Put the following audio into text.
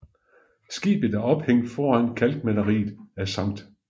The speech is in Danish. Skibet er ophængt foran kalkmaleriet af Skt